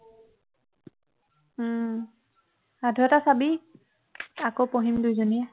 উহ সাধু এটা চাবি আকৌ পঢ়িম দুজনীয়ে